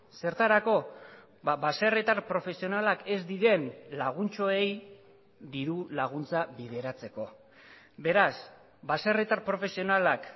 zertarako baserritar profesionalak ez diren laguntxoei diru laguntza bideratzeko beraz baserritar profesionalak